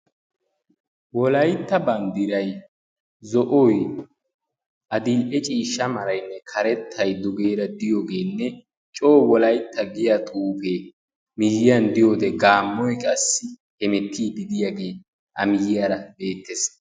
wolaytta banddirai zo'oy adil''e ciishsha maraynne karettay dugeera diyoogeenne coo wolaytta giya tuufee miyiyan diyoode gaammoy qassi hemettii didiyaagee amiyyiyaara beettees